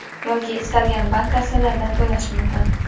yoki istalgan bank kassalaridan to‘lash mumkin.